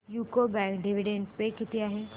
UCO bank dividend pay किती आहे